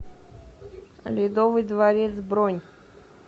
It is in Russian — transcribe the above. ледовый дворец бронь